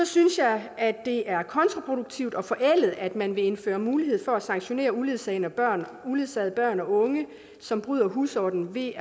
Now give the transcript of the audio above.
synes jeg at det er kontraproduktivt og forældet at man vil indføre mulighed for at sanktionere uledsagede børn uledsagede børn og unge som bryder husordenen ved